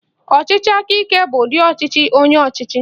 Ọchịchị aka ike bụ ụdi ọchịchị onye ọchịchị